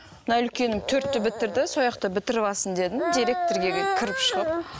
мына үлкенім төртті бітірді сояқта бітіріп алсын дедім директорға кіріп шығып